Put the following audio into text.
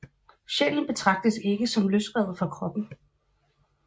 Sjælen betragtes ikke som løsrevet fra kroppen